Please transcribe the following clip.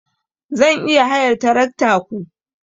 Zan iya hayar tarakta ku?